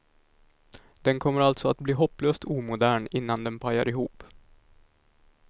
Den kommer alltså att bli hopplöst omodern innan den pajar ihop.